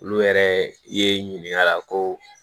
Olu yɛrɛ i ye ɲininkali la ko